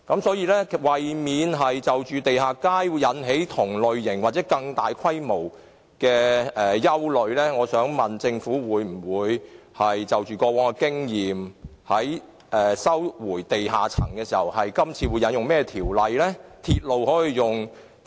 所以，為免在發展地下街時引起同類或更大的憂慮，我想問政府會否因應過往經驗，探討在收回地下空間時應引用甚麼條例行事？